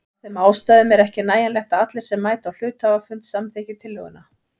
Af þeim ástæðum er ekki nægjanlegt að allir sem mæta á hluthafafund samþykki tillöguna.